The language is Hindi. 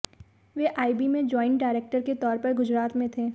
वे आईबी में ज्वाइंट डायरेक्टर के तौर पर गुजरात में थे